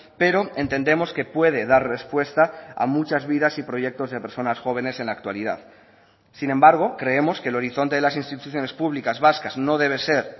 pero entendemos que puede dar respuesta a muchas vidas y proyectos de personas jóvenes en la actualidad sin embargo creemos que el horizonte de las instituciones públicas vascas no debe ser